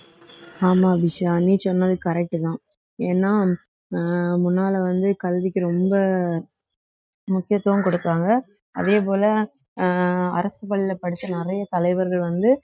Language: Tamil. ஆமா விஷா நீ சொன்னது correct தான் ஏன்னா அஹ் முன்னால வந்து கல்விக்கு ரொம்ப முக்கியத்துவம் கொடுப்பாங்க அதே போல அஹ் அரசு பள்ளியில படிச்ச நிறைய தலைவர்கள் வந்து